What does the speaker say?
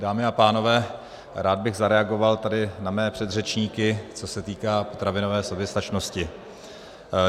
Dámy a pánové, rád bych zareagoval tady na mé předřečníky, co se týká potravinové soběstačnosti.